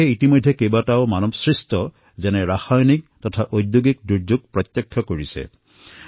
এই দেশে বহুতো প্ৰাকৃতিক আৰু মানৱ সৃষ্ট দুৰ্যোগ যেনে ৰাসায়নিক তথা ঔদ্যোগিক দুৰ্ঘটনাৰ সন্মুখীন হবলগীয়া হৈছে